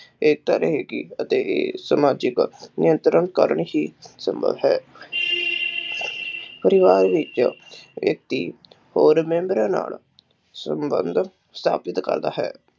ਏਕਤਾ ਰਹੇਗੀ ਅਤੇ ਸਮਾਜਿਕ ਨਿਯੰਤਰਣ ਕਰਨ ਹੀ ਸੰਭਵ ਹੈ ਪਰਿਵਾਰ ਵਿੱਚ ਵਿਅਕਤੀ ਹੋਰ ਮੇਮ੍ਬਰਾਂ ਨਾਲ ਸੰਬੰਧ ਸਾਬਿਤ ਕਰਦਾ ਹੈ।